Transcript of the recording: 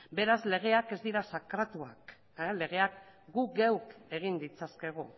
beraz legeak ez dira sakratuak legeak gu geuk egin ditzakegu